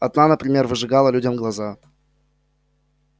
одна например выжигала людям глаза